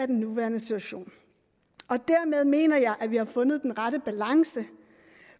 den nuværende situation dermed mener jeg at vi har fundet den rette balance